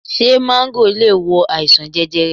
Ṣé máńgò le wo àìsàn jẹjẹrẹ?